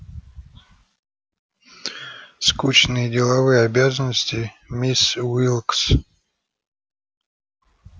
скучные деловые обязанности мисс уилкс